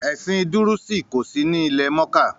“Ẹ̀sìn dúrúùsì” kòsí ní ilẹ̀-mọ́kà.